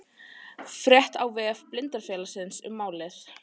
Frétt á vef Blindrafélagsins um málið